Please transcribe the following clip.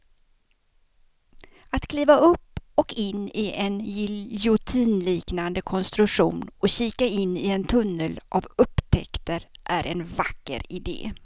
Att kliva upp och in i en giljotinliknande konstruktion och kika in i en tunnel av upptäckter är en vacker idé.